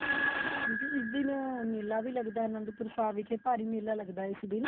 ਹਾਂਜੀ ਇਸ ਦਿਨ ਮੇਲਾ ਵੀ ਲੱਗਦਾ ਅਨੰਦਪੂਰ ਸਾਹਿਬ ਵਿਖੇ ਭਾਰੀ ਮੇਲਾ ਲੱਗਦਾ ਇਸ ਦਿਨ